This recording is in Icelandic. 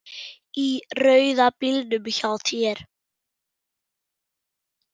Í rauða bílnum hjá þér.